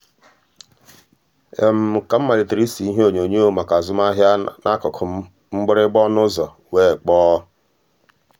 ka um m malitere ịse ihe onyonyo maka azụmahịa n'akụkụ m mgbịrịgba ọnụ ụzọ wee kpọọ. um